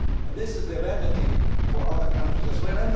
This is the remedy for other countries as well.